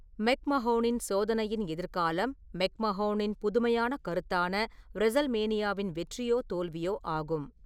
மெக்மஹோனின் சோதனையின் எதிர்காலம் மெக்மஹோனின் புதுமையான கருத்தான ரெஸல்மேனியாவின் வெற்றியோ தோல்வியோ ஆகும்.